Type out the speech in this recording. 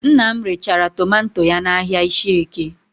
Nna m rechara tomanto ya n'ahịa Ishieke